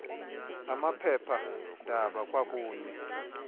amaphepha ndaba kwakunye